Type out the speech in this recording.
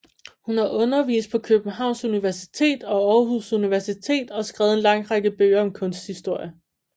Hun har undervist på Københavns Universitet og Aarhus Universitet og skrevet en lang række bøger om kunsthistorie